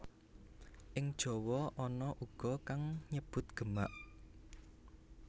Ing Jawa ana uga kang nyebut Gemak